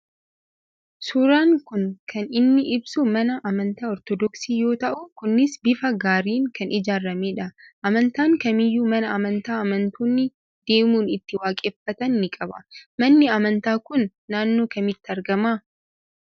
Suuraan kun kan inni ibsu mana amantaa Ortodooksii yoo ta'u Kunis bifa gaariin kan ijaarame dha. Amantaan kamiyyuu mana amantaa amantoonni deemuun itti waaqeffatan ni qaba. Manni amantaa kun naannoo kamitti argama ?